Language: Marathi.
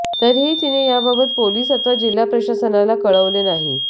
तरीही तिने याबाबत पोलीस अथवा जिल्हा प्रशासनाला कळवले नाही